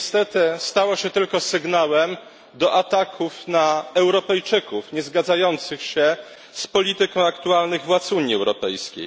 Niestety stało się tylko sygnałem do ataków na Europejczyków niezgadzających się z polityką aktualnych władz Unii Europejskiej.